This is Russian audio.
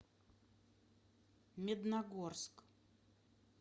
медногорск